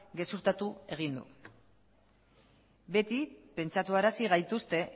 gezurtatu egin du beti pentsatuarazi gaituzte